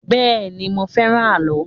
Bẹ́ẹ̀ ni, mo fẹ́ràn àlọ́.